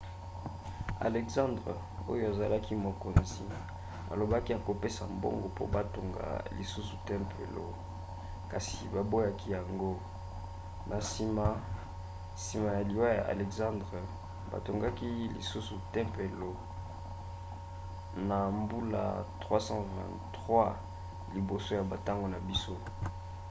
alexandre oyo azalaki mokonzi alobaki akopesa mbongo mpo batonga lisusu tempelo kasi baboyaki yango. na nsima nsima ya liwa ya alexandre batongaki lisusu tempelo na mbula 323 liboso ya bantango na biso